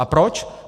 A proč?